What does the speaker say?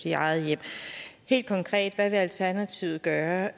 i eget hjem helt konkret hvad vil alternativet gøre